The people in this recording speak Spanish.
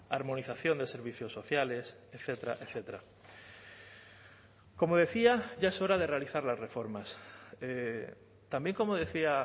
armonización de servicios sociales etcétera etcétera como decía ya es hora de realizar las reformas también como decía